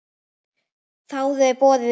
Þáðu þeir boðið í gær.